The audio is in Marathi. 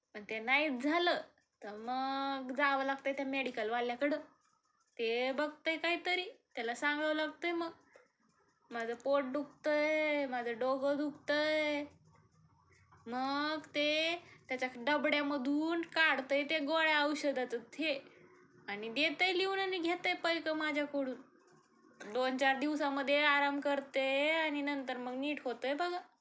मग ते नाहीच झाल तर मग जाव लागतय त्या मेडीकलवाल्याकडं. त्ये बघतय काहीतरी, त्याला सांगाव लागतय मग माझ पोट दुखतय, माझ डोग दुखतय, मग त्ये त्याच्या डबड्यामधून काढतयं त्या गोळ्या औषधाच देतय लिहून आणि घेतयं पैक माझ्याकडून. दोन चार दिवसामध्ये आराम करते आणि नंतर मग नीट होतेय बघा.